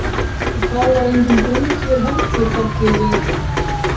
Og þá var engin brú hér heldur, bætti ég við.